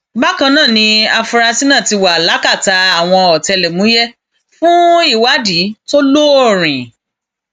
bákan náà ni àfúrásì náà ti wà lákàtà àwọn ọtẹlẹmúyẹ fún ìwádìí tó lóòrín